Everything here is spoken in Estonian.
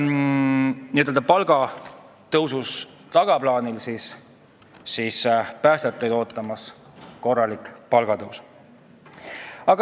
Seni on päästjate palga tõus olnud tagaplaanil, nüüd ootab neidki korralik palgatõus.